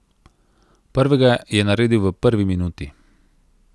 Prvega je naredil v prvi minuti.